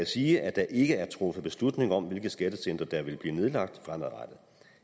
sige at der ikke er truffet beslutning om hvilke skattecentre der vil blive nedlagt fremadrettet